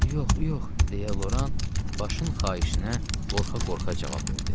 Yox, yox, deyə Loran başın xahişinə qorxa-qorxa cavab verdi.